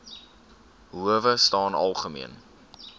howe staan algemeen